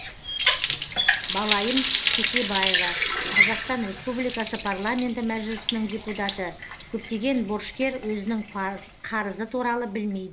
балайым кесебаева қазақстан республикасы парламенті мәжілісінің депутаты көптеген борышкер өзінің қарызы туралы білмейді